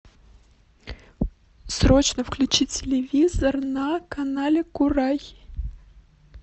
срочно включи телевизор на канале курай